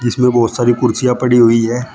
पीछे मे बहोत सारी कुर्सियां पड़ी हुई हैं।